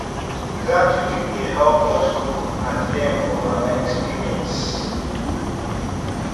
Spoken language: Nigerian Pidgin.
gratitude dey help us grow and learn from our experiences